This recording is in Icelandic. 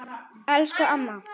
Elsku amma.